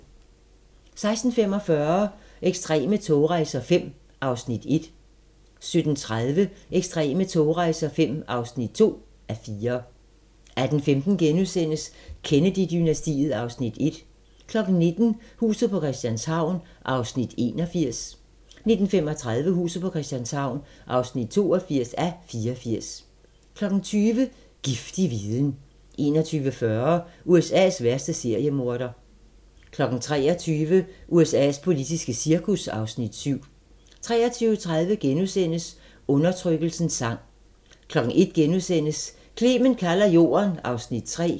16:45: Ekstreme togrejser V (1:4) 17:30: Ekstreme togrejser V (2:4) 18:15: Kennedy-dynastiet (Afs. 1)* 19:00: Huset på Christianshavn (81:84) 19:35: Huset på Christianshavn (82:84) 20:00: Giftig viden 21:40: USA's værste seriemorder 23:00: USA's politiske cirkus (Afs. 7) 23:30: Undertrykkelsens sang * 01:00: Clement kalder jorden (Afs. 3)*